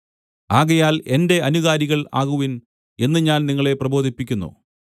ആകയാൽ എന്റെ അനുകാരികൾ ആകുവിൻ എന്ന് ഞാൻ നിങ്ങളെ പ്രബോധിപ്പിക്കുന്നു